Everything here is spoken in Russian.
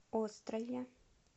острове